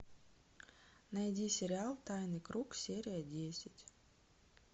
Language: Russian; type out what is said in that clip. найди сериал тайный круг серия десять